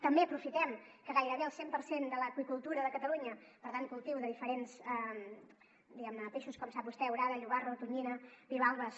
també aprofitem que gairebé el cent per cent de l’aqüicultura de catalunya per tant cultiu de diferents diguem ne peixos com sap vostè orada llobarro tonyina bivalves